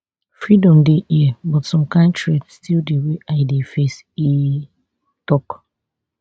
freedom dey hia but some kain threat still dey wey i dey face e tok